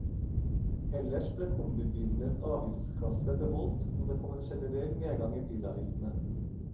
Ellers ble kombibilenes avgiftsklasse beholdt, og det kom en generell nedgang i bilavgiftene.